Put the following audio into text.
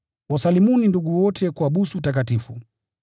Wasalimuni ndugu wote kwa busu takatifu.